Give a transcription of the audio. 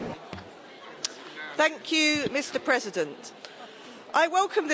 Mr President, I welcome this report on autonomous driving.